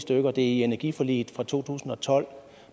det er med i energiforliget for to tusind og tolv